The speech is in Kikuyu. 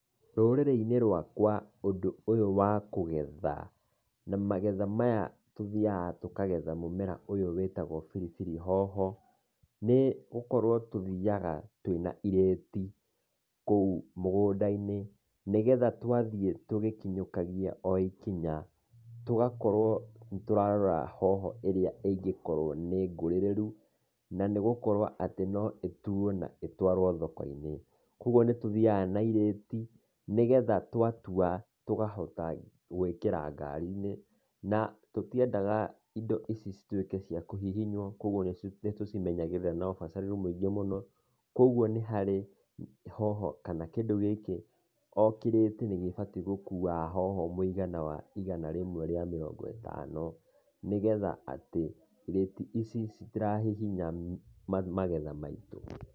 Rũrĩrĩ-inĩ rũakwa ũndũ ũyũ wa kũgetha, na magetha maya tũthiaga tũkagetha mũmera ũyũ wĩtagũo biribiri hoho, nĩgũkorwo tũthiaga twĩna irĩti, kũu mũgũnda-inĩ, nĩgetha twathiĩ tũgĩkinyũkagia o ikinya, tũgakorwo nĩtũrarora hoho ĩrĩa ingĩkorwo nĩ ngũrĩrĩru, na nĩgũkorwo atĩ no ĩtuo na ĩtũarwo thoko-inĩ. Kuoguo nĩtũthiaga na irĩti, nĩgetha twatua tũkahota gwĩkĩra ngari-inĩ, na tũtiendaga indo ici cituĩke cia kũhihinyũo, kuoguo nĩtũcimenyagĩrĩra na ũbacĩrĩru mũingĩ mũno. Kuoguo nĩ harĩ hoho kana kĩndũ gĩkĩ o kĩrĩti nĩkĩbatiĩ gũkua hoho mũigana wa igana rĩmwe rĩa mĩrongo ĩtano, nĩgetha atĩ irĩti ici citirahihinya magetha maitũ.